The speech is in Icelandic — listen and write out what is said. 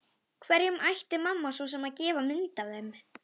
Hverjum ætti mamma svo sem að gefa mynd af þeim?